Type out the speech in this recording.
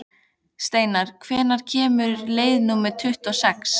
Steinar, hvenær kemur leið númer tuttugu og sex?